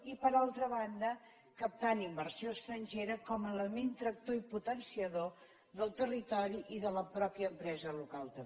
i per altra banda captant inversió estrangera com a element tractor i potenciador del territori i de la mateixa empresa local també